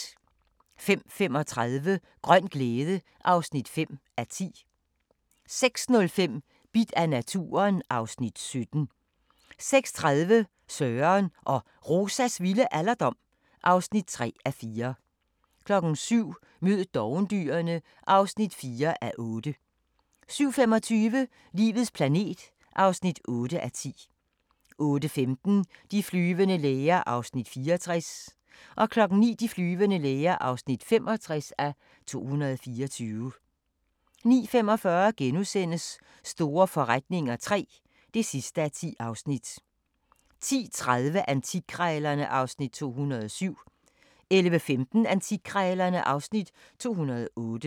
05:35: Grøn glæde (5:10) 06:05: Bidt af naturen (Afs. 17) 06:30: Søren og Rosas vilde alderdom (3:4) 07:00: Mød dovendyrene (4:8) 07:25: Livets planet (8:10) 08:15: De flyvende læger (64:224) 09:00: De flyvende læger (65:224) 09:45: Store forretninger III (10:10)* 10:30: Antikkrejlerne (Afs. 207) 11:15: Antikkrejlerne (Afs. 208)